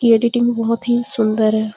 ये एडिटिंग बहोत ही सुंदर है।